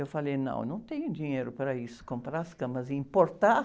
Eu falei, não, eu não tenho dinheiro para isso, comprar as camas e importar?